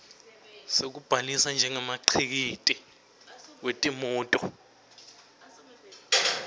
sekubhalisa njengemkhiciti wetimoti